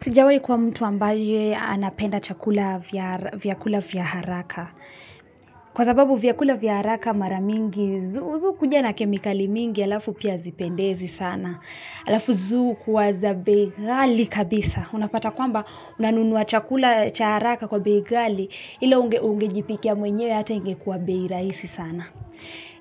Sijawahi kuwa mtu ambaye anapenda chakula vyakula vya haraka kwa sababu vyakula vya haraka mara mingi zihukuja na kemikali mingi alafu pia hazipendizi sana alafu zihukuwa za bei ghali kabisa unapata kwamba unanunua chakula cha haraka kwa bei ghali ila ungejipikia mwenyewe hata ingekuwa bei rahisi sana